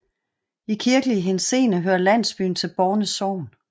I kirkelig henseende hører landsbyen til Borne Sogn